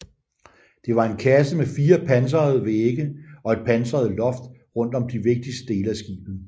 Det var en kasse med fire pansrede vægge og et pansret loft rundt om de vigtigste dele af skibet